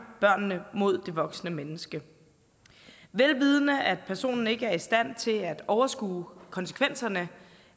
børnene mod det voksne menneske vel vidende at personen ikke er i stand til at overskue konsekvenserne